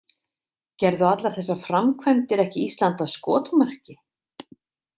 Gerðu allar þessar framkvæmdir ekki Ísland að skotmarki?